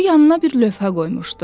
O yanına bir lövhə qoymuşdu.